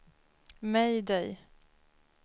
mayday